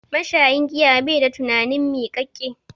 Mashayin giya bai da tunani miƙaƙƙe.